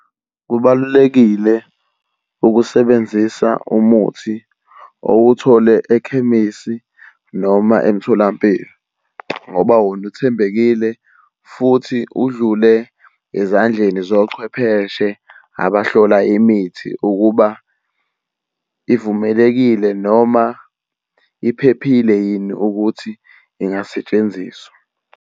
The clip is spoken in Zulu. Kubalulekile ukusebenzisa umuthi owuthole ekhemisi noma emtholampilo, ngoba wona uthembekile futhi udlule ezandleni zochwepheshe abahlola imithi ukuba ivumelekile noma iphephile yini ukuthi ingasetshenziswa.